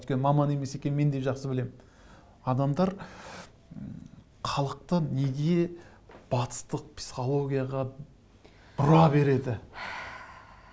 өйткені маман емес екенін мен де жақсы білемін адамдар м халықты неге батыстық психологияға бұра береді